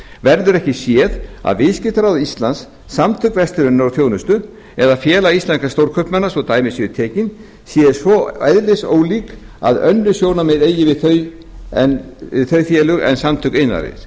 verður ekki séð að viðskiptaráð íslands samtök verslunar og þjónustu eða félag íslenskra stórkaupmanna svo dæmi séu tekin séu svo eðlisólík að önnur sjónarmið eigi við um þau félög en samtök iðnaðarins